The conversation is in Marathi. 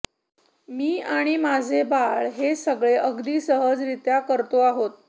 मी आणि माझे बाळ हे सगळे अगदी सहजरीत्या करतो आहोत